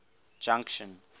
junction